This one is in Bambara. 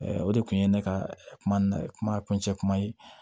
o de kun ye ne ka kuma kuma kuncɛ kuma ye